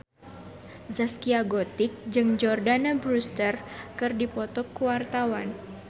Zaskia Gotik jeung Jordana Brewster keur dipoto ku wartawan